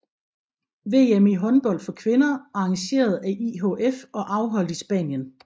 VM i håndbold for kvinder arrangeret af IHF og afholdt i Spanien